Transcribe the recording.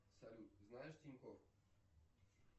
салют знаешь тинькофф